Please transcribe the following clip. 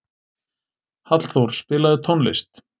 Hallþór, spilaðu tónlist.